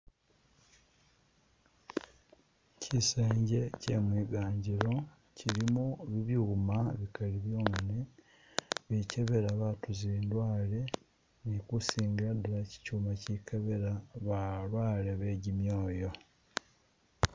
Kyisenje kyemwiganjilo kyilimo byuuma bikali byonyene bikebela baatu zindwale ni kusingila dala kyikyuma kyikebela balwale begimyoyo.